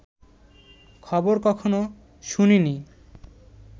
খবর কখনো শুনিনি